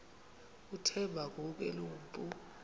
uthemba ngoku enompu